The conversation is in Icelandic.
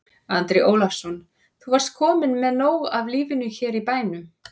Andri Ólafsson: Þú varst kominn með nóg af lífinu hérna í bænum?